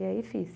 E aí fiz.